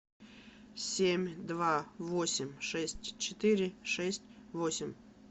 семь два восемь шесть четыре шесть восемь